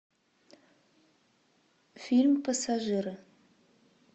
фильм пассажиры